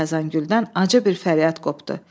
Xəzəngüldən acı bir fəryad qopdu.